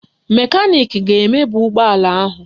Mekaniki ga-emebi ụgbọala ahụ